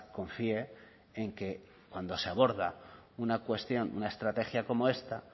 confíe en que cuando se aborda una cuestión una estrategia como esta